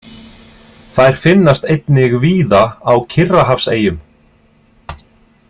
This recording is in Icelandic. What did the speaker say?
Þær finnast einnig víða á Kyrrahafseyjum.